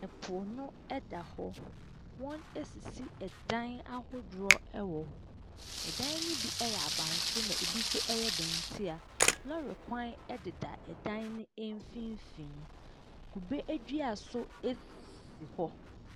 Ɛpo no ɛda hɔ. Wɔn esisi ɛdan ahodoɔ ɛwɔ hɔ. Ɛdan ahodoɔ no bi ɛyɛ abansoro na ebi nso dan tia. Lɔre kwan ɛdeda ɛdan no mfimfini. Kube adua nso esisi hɔ.